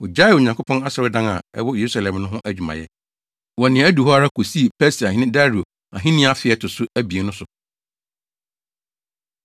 Wogyaee Onyankopɔn asɔredan a ɛwɔ Yerusalem no ho adwumayɛ, wɔ nea adu hɔ ara, kosii Persiahene Dario ahenni afe a ɛto so abien no so.